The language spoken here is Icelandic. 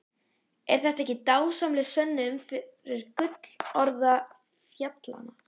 Er þetta ekki dásamleg sönnun fyrir gullroða fjallanna?